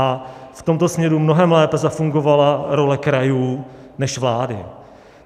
A v tomto směru mnohem lépe zafungovala role krajů než vlády.